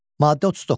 Maddə 39.